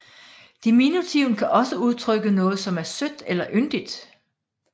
Diminutiven kan også udtrykke noget som er sødt eller yndigt